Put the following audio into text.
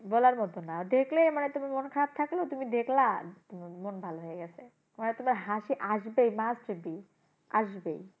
বলার মত না দেখলেই মানে তুমি মন খারাপ থাকলেও তুমি দেখলা, মন ভালো হয়ে গেছে। মানে তোমার হাসি আসবেই must be আসবেই।